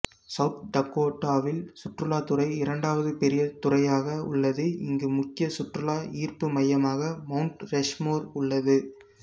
south டகோடாவில் சுற்றுலாத்துறை இரண்டாவது பெரிய துறையாக உள்ளது இங்கு முக்கிய சுற்றுலா ஈர்ப்பு மையமாக மவுண்ட் ரஷ்மோர் உள்ளது